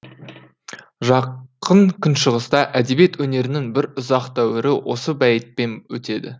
жақын күншығыста әдебиет өнерінің бір ұзақ дәуірі осы бәйітпен өтеді